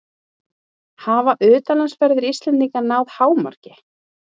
Hafa utanlandsferðir Íslendinga náð hámarki?